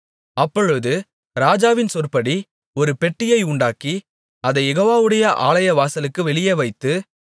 அப்பொழுது ராஜாவின் சொற்படி ஒரு பெட்டியை உண்டாக்கி அதைக் யெகோவாவுடைய ஆலய வாசலுக்கு வெளியே வைத்து